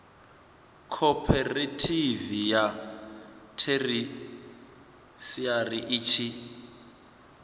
khophorethivi ya theshiari i tshi